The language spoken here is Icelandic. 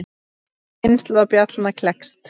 Ný kynslóð bjallna klekst.